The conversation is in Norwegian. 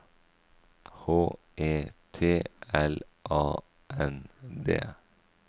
H E T L A N D